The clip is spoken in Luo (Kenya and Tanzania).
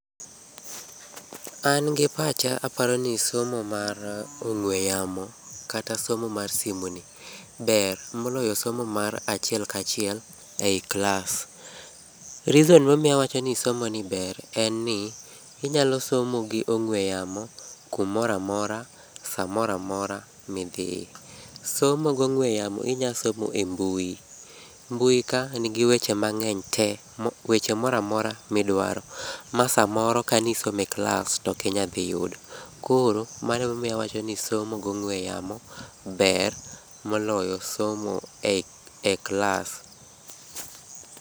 An gi pacha aparo ni somo mar ong'ue yamo kata somo mar simoni ber moloyo somo mar achiel ka achiel ei klas. Reason momiyo awacho ni somoni ber en ni, inyalo somo gi ong'ue yamo kumoro amora, samoro amora midhi. Somo gong'ue yamo inyalo somo e mbui. Mbui kae nigi weche mang'eny tee mok weche moro amora midwaro, ma samoro ka nisomo e klas to okinyal dhi yudo. Koro mano ema omiyo awacho ni somo gong'ue yamo ber moloyo somo e klas.